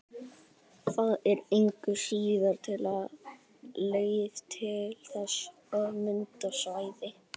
Það er engu að síður til leið til þess að mynda svæðin.